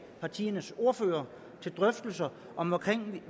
partiernes ordførere til drøftelser om